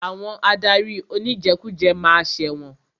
Àwọn adarí oníjẹkújẹ ma ṣẹ̀wọ̀n.